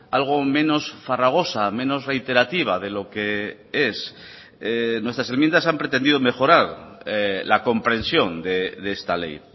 algo menos farragosa menos reiterativa de lo que es nuestras enmiendas han pretendido mejorar la comprensión de esta ley